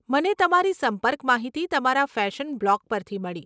મને તમારી સંપર્ક માહિતી તમારા ફેશન બ્લોગ પરથી મળી.